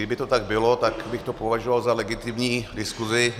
Kdyby to tak bylo, tak bych to považoval za legitimní diskuzi.